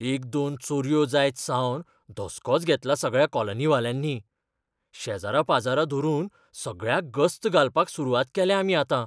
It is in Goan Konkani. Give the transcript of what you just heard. एक दोन चोरयो जायतसावन धसकोच घेतला सगळ्या कॉलनीवाल्यांनी. शेजरापाजरा धरून सगळ्याक गस्त घालपाक सुरवात केल्या आमी आतां.